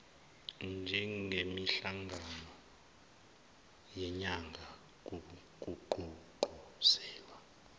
njengemihlangano yenyanga kugqugquzelwa